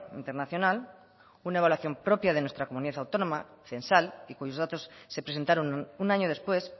internacional una evaluación propia de nuestra comunidad autónoma censal y cuyos datos se presentaron un año después